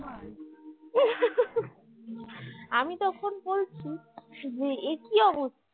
আমি তখন বলছি যে একি অবস্থা